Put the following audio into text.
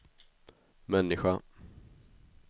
människa